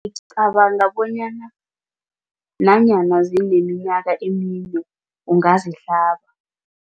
Ngicabanga bonyana nanyana zineminyaka emine ungazihlaba.